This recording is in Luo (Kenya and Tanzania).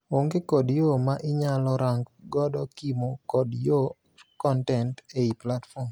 Onge kod yoo ma inyalo rang godo kimo kod yor kontent ei platform.